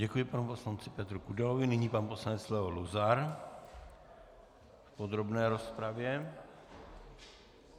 Děkuji panu poslanci Petru Kudelovi, nyní pan poslanec Leo Luzar v podrobné rozpravě.